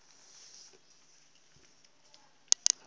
ga se tša gagwe a